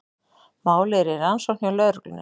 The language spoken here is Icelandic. Málið er í rannsókn hjá lögreglunni